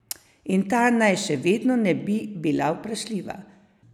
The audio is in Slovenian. In ta naj še vedno ne bi bila vprašljiva.